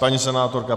Paní senátorka.